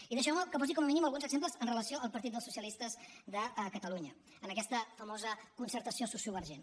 i deixeu me que posi com a mínim alguns exemples amb relació al partit del socialistes de catalunya en aquesta famosa concertació sociovergent